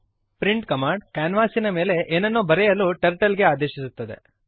print command ಕ್ಯಾನ್ವಾಸಿನ ಮೇಲೆ ಏನನ್ನೋ ಬರೆಯಲು ಟರ್ಟಲ್ ಗೆ ಆದೇಶಿಸುತ್ತದೆ